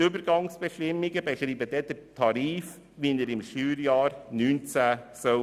Die Übergangsbestimmungen beschreiben den Tarif, der im Steuerjahr 2019 gelten soll.